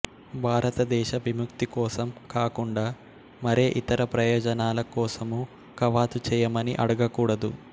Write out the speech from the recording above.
భారతదేశ విముక్తి కోసం కాకుండా మరే ఇతర ప్రయోజనాల కోసమూ కవాతు చేయమని అడగకూడదు